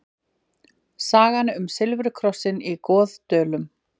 Sagan um silfurkrossinn í Goðdölum.